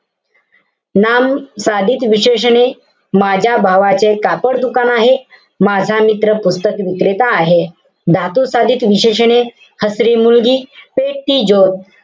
नाम साधित विशेषणे. माझ्या भावाचे कापड दुकान आहे. माझा मित्र पुस्तक विक्रेता आहे. धातू साधित विशेषणे, हसरी मुलगी, पेटती ज्योत.